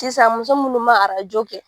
Sisan muso munnu ma kɛ